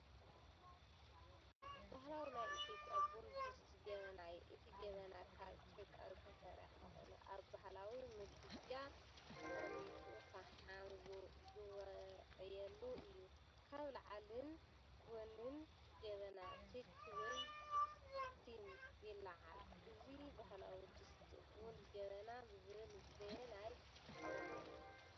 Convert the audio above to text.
ባህላዊ ናይ ኢትዮጵያ ቡን ድስቲ ጀበና እዩ። እቲ ጀበና ካብ ጭቃ ዝተሰርሐ ኮይኑ ኣብ ባህላዊ ምድጃ ተቐሚጡ ፈሓም ዝውዕየሉ እዩ። ካብ ላዕሊን ጎኒን ጀበና ትኪ ወይ ስቲም ይለዓል፡ እዚ ባህላዊ ድስቲ ቡን "ጀበና" ዝብሃል በየናይ ቋንቋ እዩ?